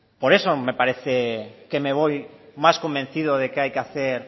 por eso me parece que me voy más convencido de que hay que hacer